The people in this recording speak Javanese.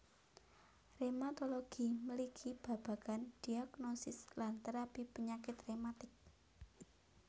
Rematologi mligi babagan diagnosis lan terapi panyakit rematik